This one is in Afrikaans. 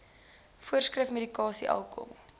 voorskrif medikasie alkohol